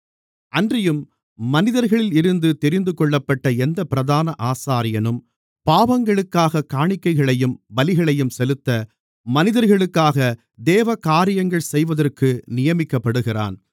அன்றியும் மனிதர்களில் இருந்து தெரிந்துகொள்ளப்பட்ட எந்தப் பிரதான ஆசாரியனும் பாவங்களுக்காகக் காணிக்கைகளையும் பலிகளையும் செலுத்த மனிதர்களுக்காக தேவகாரியங்கள் செய்வதற்கு நியமிக்கப்படுகிறான்